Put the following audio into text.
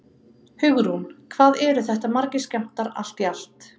Hugrún: Hvað eru þetta margir skammtar allt í allt?